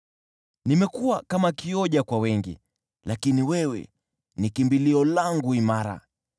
Nimekuwa kama kioja kwa wengi, lakini wewe ni kimbilio langu imara.